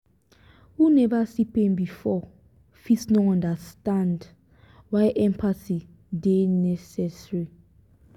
who neva see pain before fit no understand why empathy dey necessary.